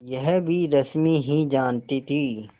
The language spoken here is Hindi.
यह भी रश्मि ही जानती थी